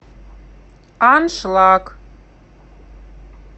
аншлаг